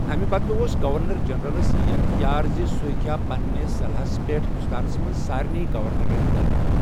امہِ بدلہٕ اوس گورنر جنرلس یہِ اٮ۪ختیار زِ سُہ ہیٚکہِ ہا پننہِ صلحس پٮ۪ٹھ ہندوستانس منٛز سارنےٕ گورنرن لٲگِتھ ۔